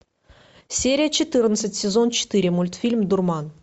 серия четырнадцать сезон четыре мультфильм дурман